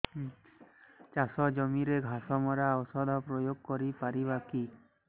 ଚାଷ ଜମିରେ ଘାସ ମରା ଔଷଧ ପ୍ରୟୋଗ କରି ପାରିବା କି